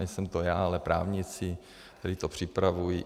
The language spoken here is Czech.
Nejsem to já, ale právníci, kteří to připravují.